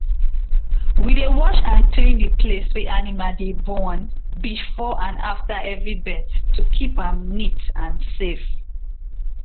my papa dey separate small um male goat when dem reach six months so dem no go start to um mate too early.